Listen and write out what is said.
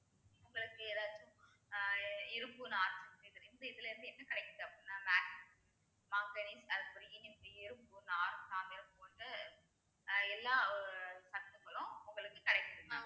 உங்களுக்கு ஏதாச்சும் ஆஹ் இதுல இருந்து என்ன கிடைக்குது அப்படின்னா போன்று எல்லா சத்துக்களும் உங்களுக்கு கிடைக்குது mam